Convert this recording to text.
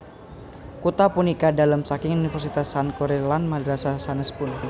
Kutha punika dalem saking Universitas Sankore lan madrasah sanèspun